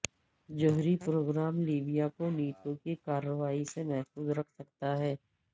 جوہری programme Libya کو NATO کی کارروائی سے محفوظ رکھ سکتا تھا